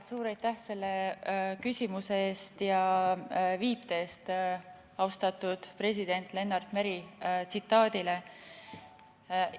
Suur aitäh selle küsimuse eest ja viite eest austatud president Lennart Meri tsitaadile!